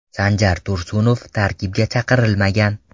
Sanjar Tursunov tarkibga chaqirilmagan.